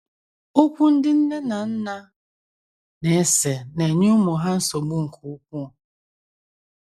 Okwu ndị nne na nna na - ese na - enye ụmụ ha nsogbu nke ukwuu.